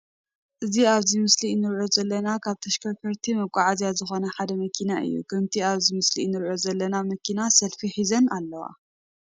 እዚ ኣብዚ ምስሊ እንርእዮ ዘለና ካብ ተሽከርከርትን መጓዓዝያን ዝኮኑ ሓደ መኪና እዩ። ከምቲ ኣብቲ ምስሊ እንርእዮ ዘለና ቡዝሓት መኪና ሰልፍ ሒዘን ኣለዋ።